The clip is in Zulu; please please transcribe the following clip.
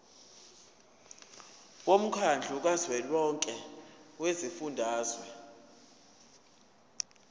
womkhandlu kazwelonke wezifundazwe